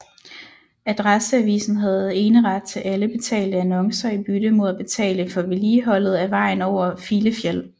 Adresseavisen havde eneret til alle betalte annoncer i bytte mod at betale for vedligeholdet af vejen over Filefjell